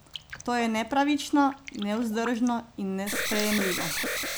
To je nepravično, nevzdržno in nesprejemljivo.